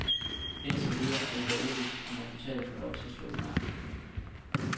Indtil videre er det dog uvist, om resultatet får lov til at stå ved magt.